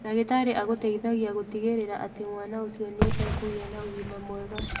Ndagĩtarĩ agũteithagia gũtigĩrĩra atĩ mwana ũcio nĩ ekũgĩa na ũgima mwega.